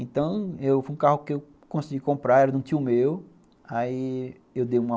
Então, foi um carro que eu consegui comprar, era de um tio meu, aí eu dei uma